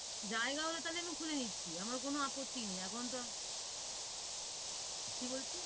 জায়গা হলে তাহলে আমি খুলে নিচ্ছি আমার কোনো আপত্তি নেই এখন তো কি বলছিস?